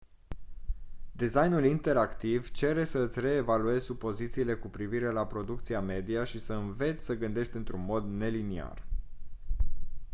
designul interactiv cere să îți reevaluezi supozițiile cu privire la producția media și să înveți să gândești într-un mod neliniar